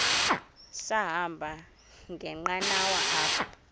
sahamba ngenqanawa apha